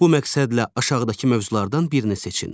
Bu məqsədlə aşağıdakı mövzulardan birini seçin.